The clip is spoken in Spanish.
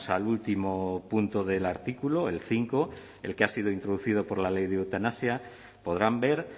al último punto del artículo el cinco el que ha sido introducido por la ley de eutanasia podrán ver